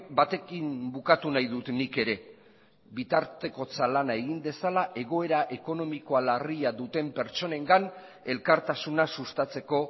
batekin bukatu nahi dut nik ere bitartekotza lana egin dezala egoera ekonomikoa larria duten pertsonengan elkartasuna sustatzeko